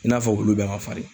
I n'a fɔ wulu bɛɛ man fari.